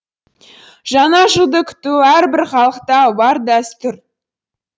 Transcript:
жаңа жылды күту әрбір халықта бар дәстүр